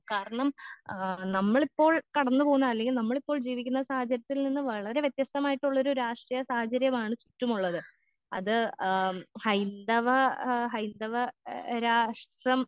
കാരണം ആ നമ്മളിപ്പോൾ കടന്ന് പോകുന്ന അല്ലെങ്കിൽ നമ്മളിപ്പോൾ ജീവിക്കുന്ന സാഹചര്യത്തിൽ നിന്ന് വളരെ വ്യത്യസ്തമായിട്ടുള്ളൊരു രാഷ്ട്രീയ സാഹചര്യമാണ് ചുറ്റുമുള്ളത് അത് ആ ഹൈന്ദവ ആ ഹൈന്ദവ ഏ രാഷ്ട്രം.